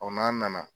n'an nana